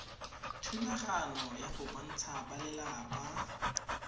thulaganyo ya go kopantsha balelapa